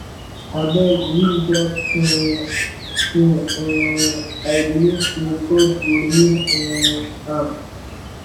abeg leave dat um thing um i believe say god go heal um am